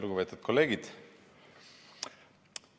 Lugupeetud kolleegid!